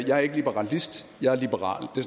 jeg er ikke liberalist jeg er liberal det